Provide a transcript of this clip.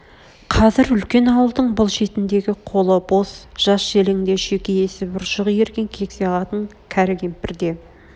қазір үлкен ауылдың бұл шетндегі қолы бос жас-желең де шүйке есіп ұршық ирген кексе қатын кәрі кемпір де